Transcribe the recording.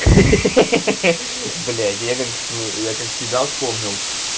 хи-хи блять я как я как себя вспомнил